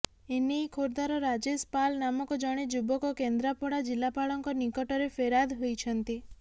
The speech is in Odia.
ଏନେଇ ଖୋର୍ଦ୍ଧାର ରାଜେଶ ପାଲ୍ ନାମକ ଜଣେ ଯୁବକ କେନ୍ଦ୍ରାପଡ଼ା ଜିଲ୍ଲାପାଳଙ୍କ ନିକଟରେ ଫେରାଦ ହୋଇଛନ୍ତି